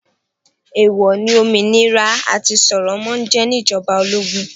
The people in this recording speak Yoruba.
Èwò ní òmìnira àti sọ̀rọ̀ máa jẹ ní ìjọba ológun.